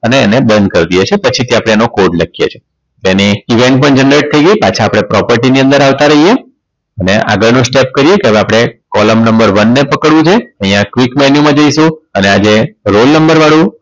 અને એને બંધ કરી દઈએ છીએ પછીથી આપણે એનો code લખીએ છીએ અને event પણ generate થઈ ગઈ પાછા આપણે property ની અંદર આવતા રહીએ અને આગળ નું step કરીએ હવે આપણે column number one ને પકડીએ છીએ અહીંયા click menu માં જઈશું અને આ જે roll number વાળું